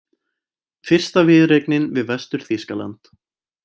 Fyrsta viðureignin við Vestur-Þýskaland